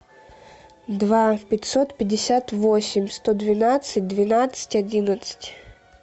два пятьсот пятьдесят восемь сто двенадцать двенадцать одиннадцать